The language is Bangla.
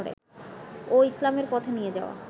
ও ইসলামের পথে নিয়ে যাওয়া